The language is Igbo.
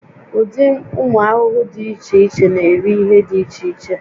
Ụdị ụmụ ahụhụ dị iche iche na-eri ihe dị iche iche